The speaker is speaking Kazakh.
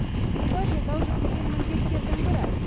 бұл да жолдау жүктеген міндеттердің бірі